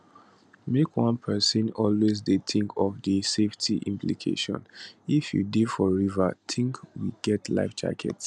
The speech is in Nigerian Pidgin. make one pesin always dey tink of di safety implications if you dey for river tink we get life jacket